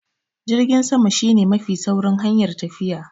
Jirgin sama shi ne mafi saurin hanyar tafiya.